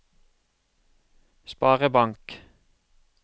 sparebank